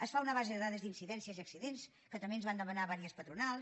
es fa una base de dades d’incidències i accidents que també ens ho van demanar diverses patronals